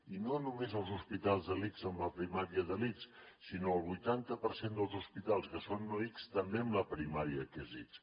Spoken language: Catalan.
i no només els hospitals de l’ics amb la primària de l’ics sinó el vuitanta per cent dels hospitals que són no ics també amb la primària que és ics